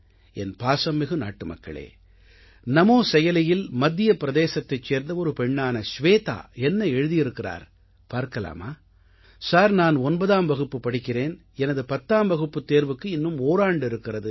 என் பாசம்மிகு நாட்டுமக்களே நமோ செயலியில் மத்திய பிரதேசத்தை சேர்ந்த ஒரு பெண்ணான ஷ்வேதா என்ன எழுதியிருக்கிறார் பார்க்கலாமா சார் நான் 9ஆம் வகுப்பு படிக்கிறேன் எனது 10ஆம் வகுப்புத் தேர்வுக்கு இன்னும் ஓராண்டு இருக்கிறது